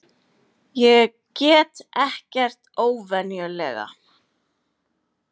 Ég get ekkert óvenjulega.